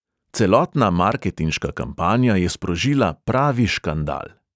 Celotna marketinška kampanja je sprožila pravi škandal.